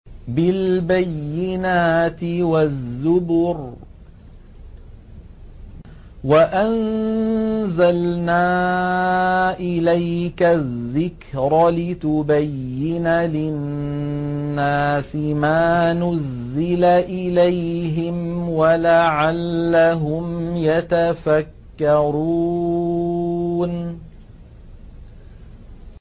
بِالْبَيِّنَاتِ وَالزُّبُرِ ۗ وَأَنزَلْنَا إِلَيْكَ الذِّكْرَ لِتُبَيِّنَ لِلنَّاسِ مَا نُزِّلَ إِلَيْهِمْ وَلَعَلَّهُمْ يَتَفَكَّرُونَ